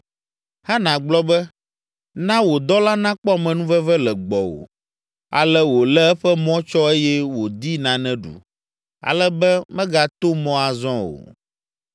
Hana gblɔ be, “Na wò dɔla nakpɔ amenuveve le gbɔwò.” Ale wòlé eƒe mɔ tsɔ eye wòdi nane ɖu, ale be megato mo azɔ o.